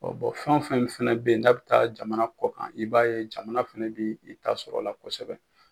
O fɛn o fɛn fana bɛ yen n' bɛ taa jamana kɔ kan i b'a ye jamana fana bɛ i ta sɔrɔ o la kosɛbɛ